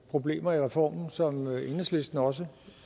problemer i reformen som enhedslisten også